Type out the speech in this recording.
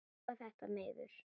Róa þetta niður!